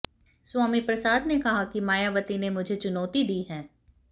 स्वामी प्रसाद ने कहा कि मायावती ने मुझे चुनौती दी है